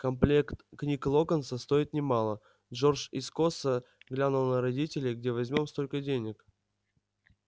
комплект книг локонса стоит немало джордж искоса глянул на родителей где возьмём столько денег